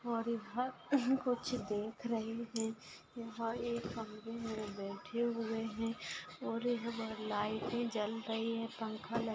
कुछ देख रही है यहा एक कमरे मे बैठे हुए है और यहा पे लाइटे जल रही है पंखा ल--